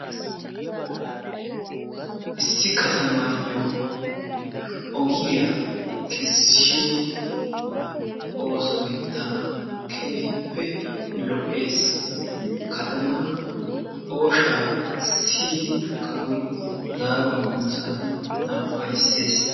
Issi katamaayyo ogiya kessiyo oosoy tana keehippe lo'ees. Katamaa oyshaa siyidi kawoy zaaruwa immiyo saatiyan tana ufaysees.